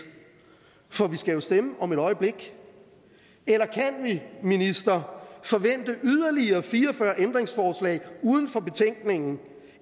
for vi skal jo stemme om et øjeblik eller kan vi minister forvente yderligere fire og fyrre ændringsforslag uden for betænkningen